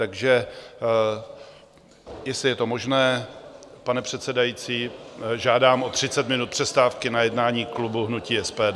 Takže jestli je to možné, pane předsedající, žádám o 30 minut přestávky na jednání klubu hnutí SPD.